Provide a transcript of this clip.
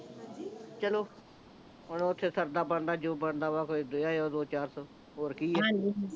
ਚਲੋ ਹੁਣ ਓਥੇ ਸਰਦਾ ਬਣਦਾ ਜੋ ਬਣਦਾ ਵਾ ਦੇ ਆਇਓ ਦੋ ਚਾਰ ਸੌ ਹੋਰ ਕੀ ਆ